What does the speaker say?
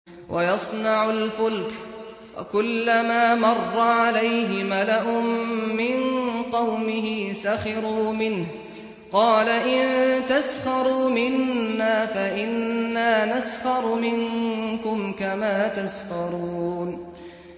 وَيَصْنَعُ الْفُلْكَ وَكُلَّمَا مَرَّ عَلَيْهِ مَلَأٌ مِّن قَوْمِهِ سَخِرُوا مِنْهُ ۚ قَالَ إِن تَسْخَرُوا مِنَّا فَإِنَّا نَسْخَرُ مِنكُمْ كَمَا تَسْخَرُونَ